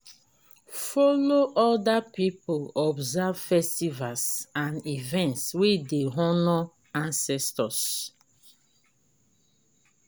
follow oda pipo observe festivals and events wey dey honor ancestor